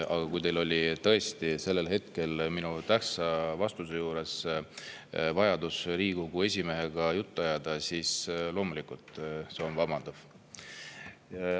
Aga kui teil oli sellel hetkel, minu tähtsa vastuse, tõesti vajadus Riigikogu esimehega juttu ajada, siis loomulikult on see vabandatav.